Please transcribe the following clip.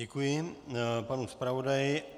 Děkuji panu zpravodaji.